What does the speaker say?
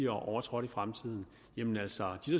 overtrådt i fremtiden jamen altså de